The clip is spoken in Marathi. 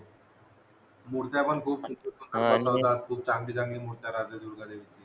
मुर्त्या पण खूप सुंदर सुंदर असतात खूप चांगली चांगली मूर्ती दुर्गा देवीची